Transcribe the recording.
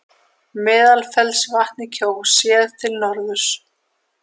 Meðalfellsvatn í Kjós, séð til norðurs.